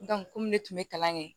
komi ne tun bɛ kalan kɛ